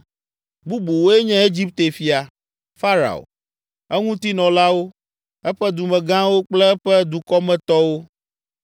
Bubuwoe nye Egipte fia, Farao, eŋutinɔlawo, eƒe dumegãwo kple eƒe dukɔmetɔwo,